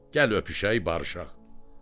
Gəl elə öpüşək, barışaq.